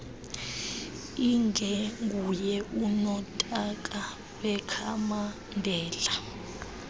ingenguye unotaka wekhamandela